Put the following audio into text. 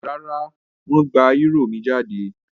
Rárá, wọ́n gba eúrò mi jáde?